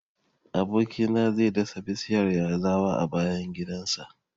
Aboki na zai dasa bishiyar yazawa a bayan gidan sa